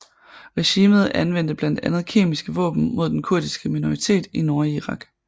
Regimet anvendte blandt andet kemiske våben mod den kurdiske minoritet i Nordirak